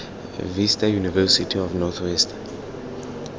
vista university of north west